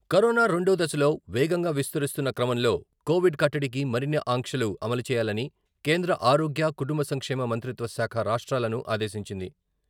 Corona రెండో దశలో వేగంగా విస్తరిస్తున్న క్రమంలో కోవిడ్ కట్టడికి మరిన్ని ఆంక్షలు అమలుచేయాలని కేంద్ర ఆరోగ్య, కుటుంబ సంక్షేమ మంత్రిత్వ శాఖ రాష్ట్రాలను ఆదేశించింది.